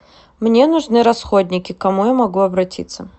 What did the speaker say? мне нужны расходники к кому я могу обратиться